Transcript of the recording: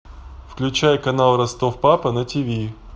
включай канал ростов папа на тиви